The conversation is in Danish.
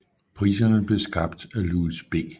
Priserne blev skabt af Louis B